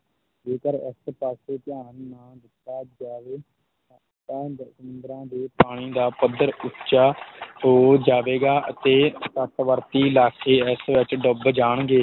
ਜੇਕਰ ਇਸ ਪਾਸੇ ਧਿਆਨ ਨਾ ਦਿੱਤਾ ਜਾਵੇ ਤਾਂ ਸੰਮੂਦਰਾਂ ਦੇ ਪਾਣੀ ਦਾ ਪੱਧਰ ਉੱਚਾ ਹੋ ਜਾਵੇਗਾ ਅਤੇ ਤੱਟਵਰਤੀ ਇਲਾਕੇ ਇਸ ਵਿੱਚ ਡੁੱਬ ਜਾਣਗੇ।